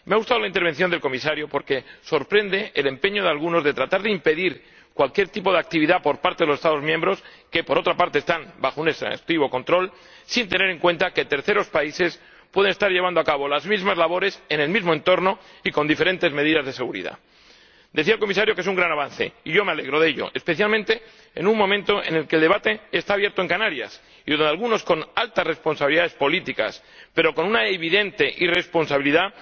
Me ha gustado la intervención del Comisario porque sorprende el empeño de algunos de tratar de impedir cualquier tipo de actividad por parte de los Estados miembros, que, por otra parte, están bajo un exhaustivo control, sin tener en cuenta que terceros países pueden estar llevando a cabo las mismas labores en el mismo entorno y con diferentes medidas de seguridad. Decía el Comisario que es un gran avance, y yo me alegro de ello, especialmente en un momento en el que el debate está abierto en Canarias y en que algunos, con altas responsabilidades políticas, pero con una evidente irresponsabilidad,